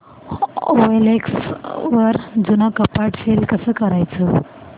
OLX वर जुनं कपाट सेल कसं करायचं